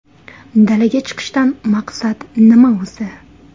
Dalaga chiqishdan maqsad nima o‘zi?